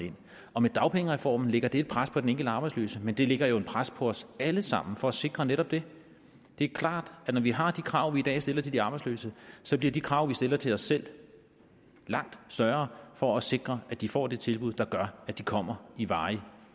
og med dagpengereformen lægger det et pres på den enkelte arbejdsløse men det lægger jo et pres på os alle sammen for at sikre netop det det er klart at når vi har de krav vi i dag stiller til de arbejdsløse så bliver de krav vi stiller til os selv langt større for at sikre at de får det tilbud der gør at de kommer i varig